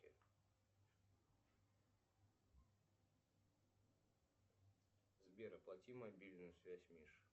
сбер оплати мобильную связь мише